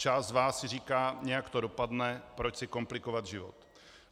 Část z vás si říká, nějak to dopadne, proč si komplikovat život.